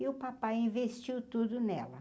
E o papai investiu tudo nela.